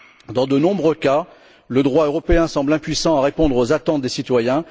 Dans de nombreux cas, le droit européen semble impuissant à répondre aux attentes des citoyens.